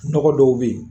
Nɔgɔ dɔw bɛ yen